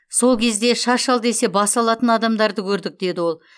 сол кезде шаш ал десе бас алатын адамдарды көрдік деді ол